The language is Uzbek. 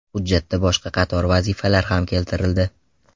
Hujjatda boshqa qator vazifalar ham keltirildi.